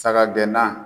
Saga gɛnna